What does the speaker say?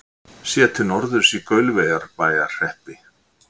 Séð til norðurs í Gaulverjabæjarhreppi.